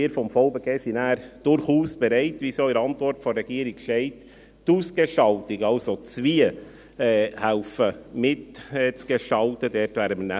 Wir vom VBG sind durchaus bereit – wie es auch in der Antwort der Regierung steht –, die Ausgestaltung, also das «Wie», mitgestalten zu helfen.